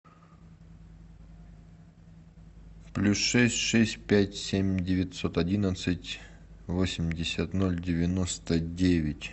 плюс шесть шесть пять семь девятьсот одиннадцать восемьдесят ноль девяносто девять